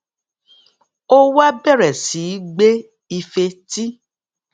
ó wá bèrè sí í gbé ife tí